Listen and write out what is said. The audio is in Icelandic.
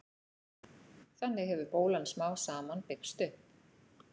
þannig hefur bólan smám saman byggst upp